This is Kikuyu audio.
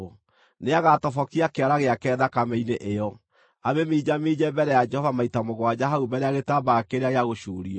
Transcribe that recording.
Nĩagatobokia kĩara gĩake thakame-inĩ ĩyo, amĩminjaminje mbere ya Jehova maita mũgwanja hau mbere ya gĩtambaya kĩrĩa gĩa gũcuurio.